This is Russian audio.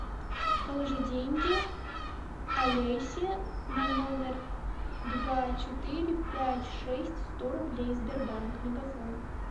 положи деньги олесе на номер два четыре пять шесть сто рублей сбербанк мегафон